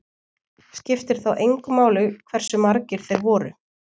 Skiptir þá engu máli hversu margir þeir voru.